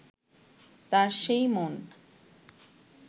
তার সেই মন